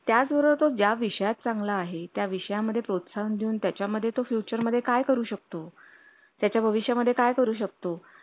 त्याचबरोबर तो ज्या विषयात चांगले आहेत या विषया मध्ये प्रोत्साहन देऊन त्याच्या मध्ये तो future मध्ये काय करू शकतो त्याच्या भविष्या मध्ये काय करू शकतो